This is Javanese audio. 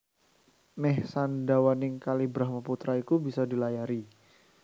Mèh sadawaning Kali Brahmaputra iku bisa dilayari